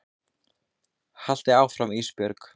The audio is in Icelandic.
Haltu áfram Ísbjörg.